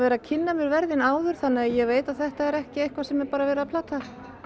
að kynna mér verðin áður þannig að ég veit að þetta er ekki eitthvað sem er verið að plata